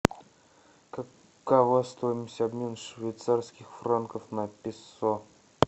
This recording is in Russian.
какова стоимость обмена швейцарских франков на песо